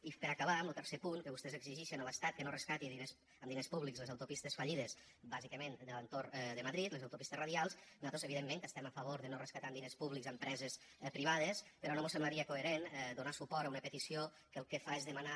i per acabar en lo tercer punt que vostès exigixen a l’estat que no rescati amb diners públics les autopistes fallides bàsicament de l’entorn de madrid les autopistes radials nosaltres evidentment que estem a favor de no rescatar amb diners públics empreses privades però no mos semblaria coherent donar suport a una petició que el que fa és demanar